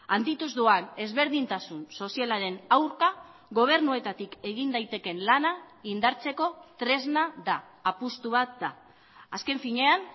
handituz doan ezberdintasun sozialaren aurka gobernuetatik egin daitekeen lana indartzeko tresna da apustu bat da azken finean